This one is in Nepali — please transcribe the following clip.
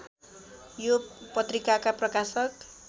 यो पत्रिकाका प्रकाशक